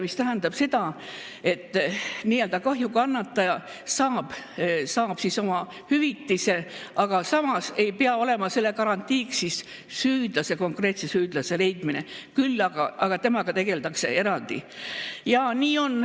See tähendab seda, et nii-öelda kahjukannataja saab oma hüvitise, aga samas ei pea olema selle garantiiks konkreetse süüdlase leidmine, küll aga tegeldakse temaga eraldi.